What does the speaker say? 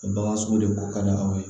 O bagan sugu de ko ka di aw ye